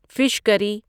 fish کری